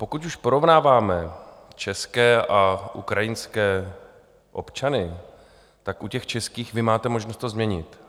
Pokud už porovnáváme české a ukrajinské občany, tak u těch českých vy máte možnost to změnit.